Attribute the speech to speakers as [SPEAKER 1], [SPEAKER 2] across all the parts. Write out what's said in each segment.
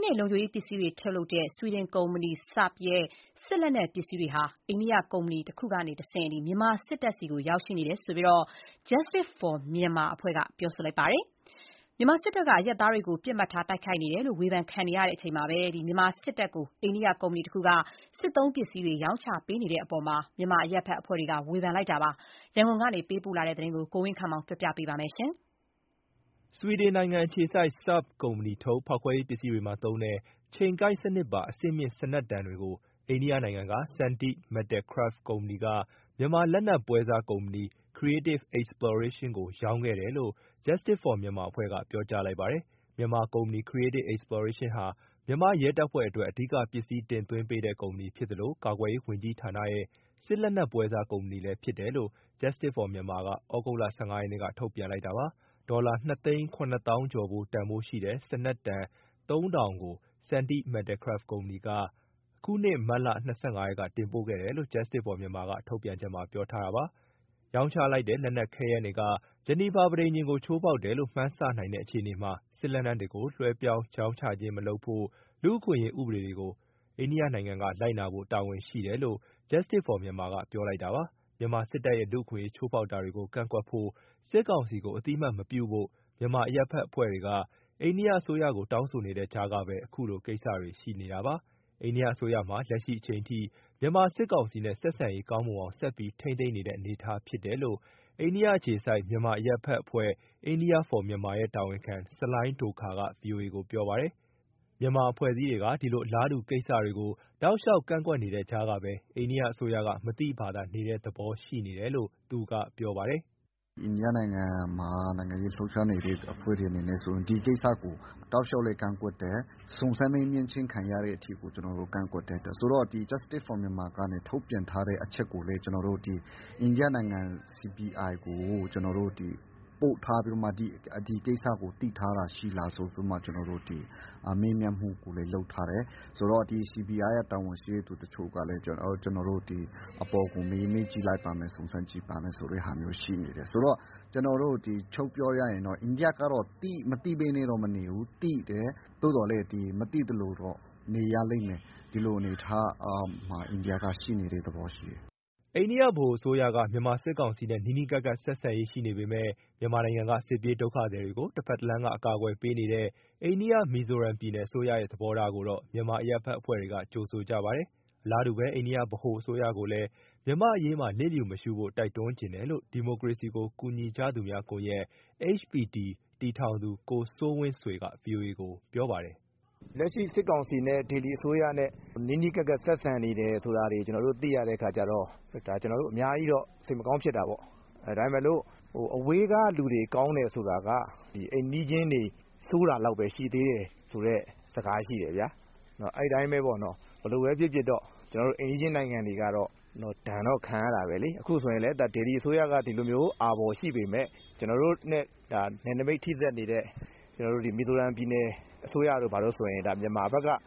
[SPEAKER 1] းနဲ့ လုံခြုံရေးပစ္စည်းတွေထုတ်လုပ်တဲ့ ဆွီဒင်ကုမ္ပဏီ Saab ရဲ့ စစ်လက်နက်ပစ္စည်းတွေဟာ အိန္ဒိယကုမ္ပဏီကတဆင့် မြန်မာစစ်တပ်ဆီ ရောက်ရှိနေတယ်လို့ Justice For Myanmar ကပြောလိုက်ပါတယ်။ မြန်မာစစ်တပ်က အရပ်သားတွေကို ပစ်မှတ်ထား၊ တိုက်ခိုက်နေတယ်လို့ ဝေဖန်ခံနေရချိန်မှာ မြန်မာစစ်တပ်ကို အိန္ဒိယကုမ္ပဏီတခုက စစ်သုံးပစ္စည်းတွေ ရောင်းချနေတဲ့အပေါ် မြန်မာအရပ်ဘက်အဖွဲ့တွေက ဝေဖန်လိုက်ပါတယ်။ ရန်ကုန်ပေးပို့တဲ့ ဒီသတင်းကို ကိုဝင်းခန့်မောင်က တင်ပြပေးထားပါတယ်။ ဆွီဒင်နိုင်ငံအခြေစိုက် Sabb ကုမ္ပဏီထုတ် ဖောက်ခွဲရေးပစ္စည်းတွေမှာသုံးတဲ့ ချိန်ကိုက်စနစ်ပါ အဆင့်မြင့်စနက်တံတွေကို အိန္ဒိယနိုင်ငံက Sandeep Metalcraft ကုမ္ပဏီက မြန်မာလက်နက်ပွဲစားကုမ္ပဏီ Creative Exploration ကို ရောင်းချခဲ့တယ်လို့ Justice For Myanmar က ပြောကြားလိုက်ပါတယ်။ မြန်မာကုမ္ပဏီ Creative Exploration ဟာ မြန်မာရဲတပ်ဖွဲ့အတွက် အဓိကပစ္စည်းတင်သွင်းပေးတဲ့ ကုမ္ပဏီဖြစ်သလို ကာကွယ်ရေးဝန်ကြီးဌာနရဲ့ စစ်လက်နက်ပွဲစားကုမ္ပဏီလည်းဖြစ်တယ်လို့ Justice For Myanmar က သြဂုတ်လ ၁၅ ရက်က ထုတ်ပြန်လိုက်တာပါ။ ဒေါ်လာ ၂ သိန်း ၇ သောင်းကျော်ဖိုး တန်ဖိုးရှိတဲ့ စနက်တံ ၃,၀၀၀ ကို Sandeep Metalcraft ကုမ္ပဏီက အခုနှစ် မတ်လ ၂၅ ရက်က တင်ပို့ခဲ့တယ်လို့ Justice For Myanmar ကထုတ်ပြန်ချက်မှာ ပြောထားပါတယ်။ ရောင်းချလိုက်တဲ့ လက်နက်ခဲယမ်းတွေက ဂျီနီဗာပဋိညာဉ်ကို ချိုးဖောက်တယ်လို့ မှန်းဆနိုင်တဲ့ အခြေအနေမှာ စစ်လက်နက်တွေကို လွှဲပြောင်းရောင်းချခြင်းမလုပ်ဖို့ လူ့အခွင့်အရေး ဥပဒေတွေကို အိန္ဒိယနိုင်ငံက လိုက်နာဖို့တာဝန်ရှိတယ်လို့ Justice For Myanmar က ပြောလိုက်တာပါ။ မြန်မာစစ်တပ်ရဲ့ လူ့အခွင့်အရေး ချိုးဖောက်တာတွေကို ကန့်ကွက်ဖို့၊ စစ်ကောင်စီကို အသိအမှတ် မပြုဖို့ မြန်မာအရပ်ဘက်အဖွဲ့တွေက အိန္ဒိယအစိုးရကို တောင်းဆိုနေတဲ့ကြားကပဲ အခုလိုကိစ္စတွေရှိနေတာပါ။ အိန္ဒိယအစိုးရဟာ လက်ရှိအချိန်အထိ မြန်မာစစ်ကောင်စီနဲ့ ဆက်ဆက်ရေးကောင်းမွန်အောင် ဆက်ပြီးထိန်းသိမ်းနေတဲ့အနေအထားဖြစ်တယ်လို့ အိန္ဒိယအခြေစိုက်တဲ့ မြန်မာအရပ်ဘက်အဖွဲ့ India For Myanmar ရဲ့တာဝန်ခံ ဆလိုင်းဒိုခါရ် က ဗွီအိုအေကို ပြောပါတယ်။ မြန်မာအဖွဲ့အစည်းတွေက ဒီလိုအလားတူကိစ္စတွေကို တောက်လျှောက် ကန့်ကွက်နေတဲ့ကြားကပဲ အိန္ဒိယအစိုးက မသိဘာသာနေတဲ့သဘော ရှိနေတယ်လို့ သူကပြောပါတယ်။
[SPEAKER 2] “အိန္ဒိယနိုင်ငံမှာ နိုင်ငံရေးလှုပ်ရှားနေတဲ့ အဖွဲ့တွေအနေနဲ့ဆိုရင် ဒီကိစ္စကို တောက်လျှောက်လည်း ကန့်ကွက်တယ်။ စုံစမ်းမေးမြန်းခြင်းခံရတဲ့အထိကို ကျနော်တို့ ကန့်ကွက်တယ်။ Justice For Myanmar ကထုတ်ပြန်ထားတဲ့ အချက်ကိုလည်း အိန္ဒိယနိုင်ငံ CBI ကို ကျနော်တို့ ပို့ထားပြီးတော့မှ ဒီကိစ္စကို သိထားတာရှိလားဆိုပြီး မေးမြန်းထားတယ်။ CBI ရဲ့တာဝန်ရှိသူတချို့ကလည်း အပေါ်ကို မေးကြည့်လိုက်ပါမယ်၊ စုံစမ်းကြည့်ပါမယ်ဆိုတာ ရှိနေတယ်။ ဆိုတော့ ချုံ့ပြောရရင် အိန္ဒိယက မသိဘဲနဲ့တော့မနေဘူး၊ သိတယ်။ သို့သော်လည်း မသိသလိုတော့ နေရလိမ့်မယ်၊ ဒီလိုအနေအထားမှာ အိန္ဒိယက ရှိနေတဲ့သဘောရှိတယ်။"
[SPEAKER 1] အိန္ဒိယဗဟိုအစိုးရက မြန်မာစစ်ကောင်စီနဲ့ နီးနီးကပ်ကပ် ဆက်ဆံရေးရှိနေပေမယ့် မြန်မာနိုင်ငံက စစ်ပြေးဒုက္ခသည်တွေကို တဘက်တလမ်းကနေ အကာအကွယ်ပေးနေတဲ့ အိန္ဒိယ၊ မီဇိုရမ်ပြည်နယ်အစိုးရရဲ့ သဘောထားကိုတော့ မြန်မာအရပ်ဘက်အဖွဲ့တွေက ကြိုဆိုကြပါတယ်။ အလားတူပဲ အိန္ဒိယ ဗဟိုအစိုးရကိုလည်း မြန်မာ့အရေးမှာ လျှစ်လျူမရှုဖို့ တိုက်တွန်းချင်တယ်လို့ ဒီမိုကရေစီကို ကူညီကြသူများကွန်ရက် တည်ထောင်သူ ကိုစိုးဝင်းဆွေက ဗွီအိုအေကို ပြောပါတယ်။ "
[SPEAKER 3] လက်ရှိစစ်ကောင်စီနဲ့ ဒေလီအစိုးရနဲ့ နီးနီးကပ်ကပ် ဆက်ဆံနေတယ်ဆိုတာတွေ ကျနော်တို့ သိရတဲ့အခါကျတော့ ဒါ ကျနော်တို့ အများကြီးတော့ စိတ်မကောင်းဖြစ်တာပေါ့။ ဒါပေမဲ့လို့ အဝေးကလူတွေ ကောင်းတယ်ဆိုတာက အိမ်နီးချင်းတွေ ဆိုးတာလောက်ပဲရှိသေးတယ် ဆိုတဲ့ စကားရှိတယ်ဗျာ၊ အဲဒီအတိုင်းပဲ ဘယ်လိုပဲဖြစ်ဖြစ် အိမ်နီးချင်းနိုင်ငံတွေက ဒဏ်တော့ခံရတာပဲလေ။ ပြီးတဲ့အခါကျတော့ အိန္ဒိယနဲ့ မြန်မာဆိုတာလည်း ဟိုးလွတ်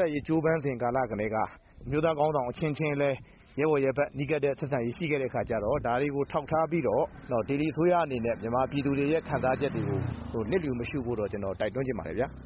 [SPEAKER 3] လပ်ရေး ကြိုးပမ်းစဉ်ကာလကတည်းက အမျိုးသားခေါင်းဆောင် အချင်းချင်းလည်း ရဲဘော်ရဲဘက် နီးကပ်တဲ့ဆက်ဆံရေး ရှိခဲ့တဲ့အခါကျတော့ ဒါတွေကို ထောက်ထားပြီးတော့ ဒေလီအစိုးရအနေနဲ့ မြန်မာပြည်သူတွေရဲ့ ခံစားချက်တွေကို လျစ်လျူမရှုဖို့တော့ ကျနော် တိုက်တွန်းချင်ပါတယ်။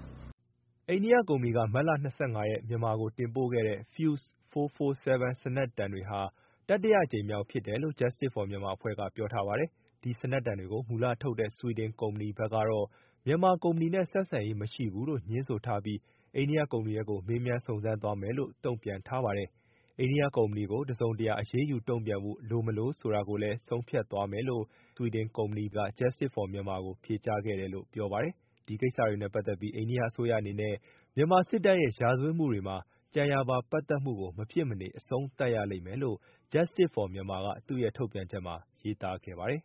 [SPEAKER 3] " အိန္ဒိယကုမ္ပဏီက မတ်လ၂၅ ရက်က မြန်မာကိုတင်ပို့ခဲ့တဲ့ Fuze
[SPEAKER 1] 447 စနက်တံတွေဟာ တတိယအကြိမ်မြောက် ဖြစ်တယ်လို့ Justice For Mynamar ကပြောထားပါတယ်။ ဒီစနက်တံတွေကို မူလထုတ်လုပ်တဲ့ ဆွီဒင်ကုမ္ပဏီဘက်ကတော့ မြန်မာကုမ္ပဏီနဲ့ ဆက်ဆံရေးမရှိဘူးလို့ ငြင်းဆိုထားပြီး အိန္ဒိယကုမ္ပဏီဘက်ကို မေးမြန်းစုံစမ်းသွားမယ်လို့ တုံ့ပြန်ထားပါတယ်။ အိန္ဒိယကုမ္ပဏီကို တစုံတရာ အရေးယူတုံ့ပြန်ဖို့ လိုမလိုဆိုတာကိုလည်း ဆုံးဖြတ်သွားမယ်လို့ ဆွီဒင်ကုမ္ပဏီက Justice For Myanmar ကို ဖြေကြားခဲ့တယ်လို့ ပြောပါတယ်။ ဒီကိစ္စတွေနဲ့ပတ်သက်ပြီး အိန္ဒိယအစိုးရအနေနဲ့ မြန်မာစစ်တပ်ရဲ့ ရာဇဝတ်မှုတွေမှာ ကြံရာပါပတ်သက်မှုကို မဖြစ်မနေအဆုံးသတ်ရလိမ့်မယ် လို့ Justice For Myanmar က သူ့ရဲ့ထုတ်ပြန်ချက်ထဲမှာ ရေးသားခဲ့ပါတယ်။